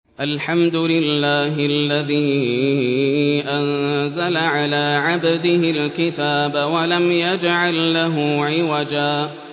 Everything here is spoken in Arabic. الْحَمْدُ لِلَّهِ الَّذِي أَنزَلَ عَلَىٰ عَبْدِهِ الْكِتَابَ وَلَمْ يَجْعَل لَّهُ عِوَجًا ۜ